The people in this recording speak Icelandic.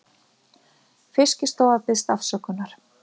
Fiskistofa biðst afsökunar